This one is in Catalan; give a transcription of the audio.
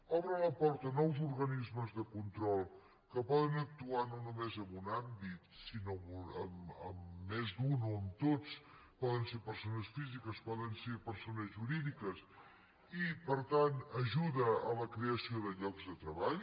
obre la porta a nous organismes de control que poden actuar no només en un àmbit sinó en més d’un o en tots poden ser persones físiques poden ser persones jurídiques i per tant ajuda a la creació de llocs de treball